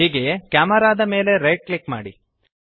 ಹೀಗೆಯೇ ಕೆಮೆರಾ ದ ಮೇಲೆ ರೈಟ್ ಕ್ಲಿಕ್ ಮಾಡಿ